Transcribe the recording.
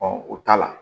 o t'a la